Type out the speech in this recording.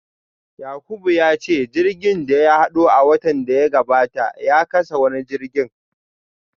Yakubu ya ce jirgin da ya hado a watan da ya gabata ya kasa wani injin